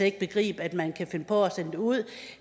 ikke begribe at man kan finde på at sende det ud